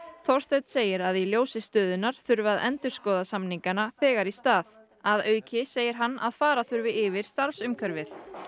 Þorsteinn segir að í ljósi stöðunnar þurfi að endurskoða samningana þegar í stað að auki segir hann að fara þurfi yfir starfsumhverfið